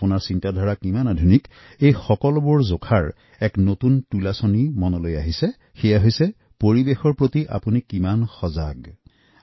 আপুনি কিমান সংস্কৃতিবান কিমান আধুনিক আপনাৰ চিন্তাচেতনা কিমান আধুনিক তাক প্ৰমাণ কৰাৰ বাবে বৰ্তমানৰ এই নতুন মাপকাঠি হল পৰিৱেশৰ প্ৰতি আপোনাৰ সজাগতা